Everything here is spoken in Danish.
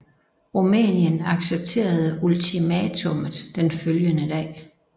Rumænien accepterede ultimatummet den følgende dag